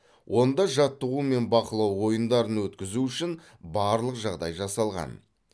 онда жаттығу мен бақылау ойындарын өткізу үшін барлық жағдай жасалған